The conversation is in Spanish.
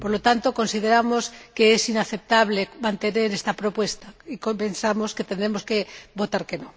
Por lo tanto, consideramos que es inaceptable mantener esta propuesta y pensamos que tendremos que votar que no.